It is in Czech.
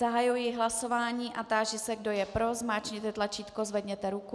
Zahajuji hlasování a táži se, kdo je pro, zmáčkněte tlačítko, zvedněte ruku.